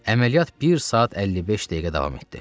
Əməliyyat bir saat 55 dəqiqə davam etdi.